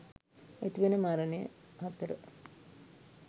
ඇතිවන මරණය 4.